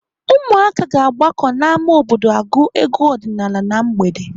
Ụmụaka ga-agbakọ n'ámá obodo agụ egwu ọdịnaala na mgbede.